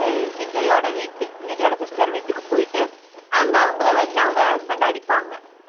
விஜய்யோட வீட்டு விஜய்யோட sister வீட்டுக்கு போயிட்டு அங்க அவங்கள வந்து அவங்க husband அடிப்பாங்க